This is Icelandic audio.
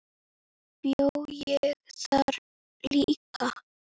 Bjó ég þar líka?